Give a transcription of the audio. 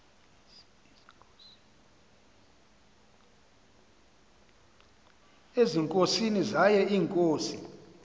ezinkosini zaye iinkosi